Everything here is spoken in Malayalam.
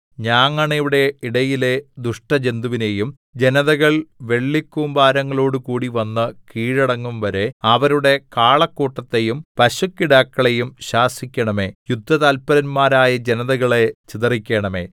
ഞാങ്ങണയുടെ ഇടയിലെ ദുഷ്ടജന്തുവിനെയും ജനതകൾ വെള്ളിക്കൂമ്പാരങ്ങളോടുകൂടി വന്ന് കീഴടങ്ങുംവരെ അവരുടെ കാളക്കൂട്ടത്തെയും പശുക്കിടാക്കളെയും ശാസിക്കണമേ യുദ്ധതല്പരന്മാരായ ജനതകളെ ചിതറിക്കണമേ